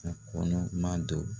A kɔnɔ ma do.